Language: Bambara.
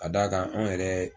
Ka d'a kan anw yɛrɛ